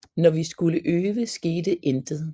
Når vi skulle øve skete intet